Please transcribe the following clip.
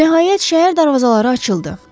Nəhayət, şəhər darvazaları açıldı.